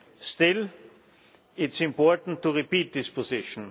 Still, it is important to repeat this position.